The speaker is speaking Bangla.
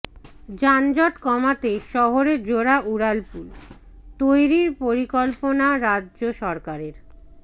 যানজট কমাতে শহরে জোড়া উড়ালপুল তৈরির পরিকল্পনা রাজ্য সরকারের